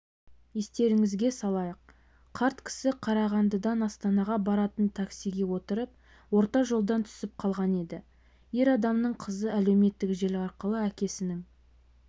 естеріңізге салайық қарт кісі қарағандыдан астанаға баратын таксиге отырып орта жолдан түсіп қалған еді ер адамның қызы әлеуметтік желі арқылы әкесінің